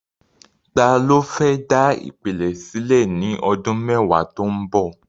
Ta ló fẹ́ dá ìpìlẹ̀ sílẹ̀ ní ọdún mẹ́wàá tó ń bọ̀?